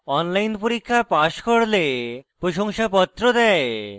online পরীক্ষা pass করলে প্রশংসাপত্র দেয়